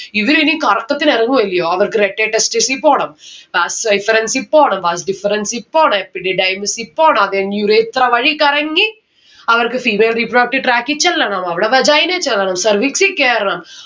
ഇവർ ഇനി കറക്കത്തിന് ഇറങ്ങുവല്ല്യോ അവർക്ക് rete testis ഇ പോണം. vas efferents ഇ പോണം vas deferens ഇ പോണം epididymis ഇ പോണം അത് കഴിഞ്ഞ് urethra വഴി കറങ്ങി അവർക്ക് ന് അകത്ത് track ഇ ചെല്ലണം അവിടെ vagina ൽ ചെല്ലണം cervix ഇ കേറണം